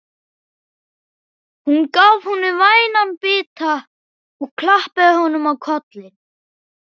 Hún gaf honum vænan bita og klappaði honum á kollinn.